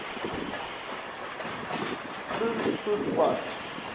groen spoeg park